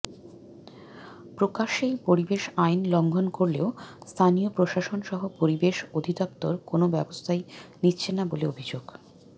প্রকাশ্যেই পরিবেশ আইন লঙ্ঘন করলেও স্থানীয় প্রশাসনসহ পরিবেশ অধিদপ্তর কোনো ব্যবস্থাই নিচ্ছে না বলে অভিযোগ